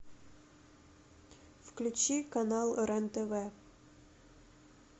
включи канал рен тв